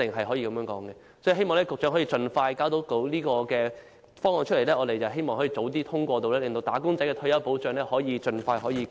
所以，我希望局長能夠盡快提交方案，讓我們早日通過，令"打工仔"的退休保障盡快得到改善。